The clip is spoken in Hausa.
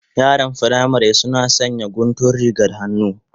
Yaran firamari suna sanya guntun rigar